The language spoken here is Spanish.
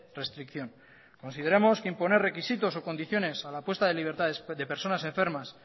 restricción consideramos que imponer requisitos o condiciones a la puesta de libertad de personas enfermas